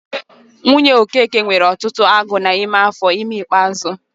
Nwunye Okeke nwere ọtụtụ agụụ n'ime afọ ime ikpeazụ.